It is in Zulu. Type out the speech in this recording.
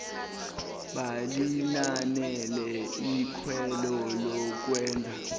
balinanele ikhwelo lokwenza